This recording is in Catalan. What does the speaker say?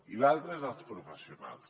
i l’altra és els professionals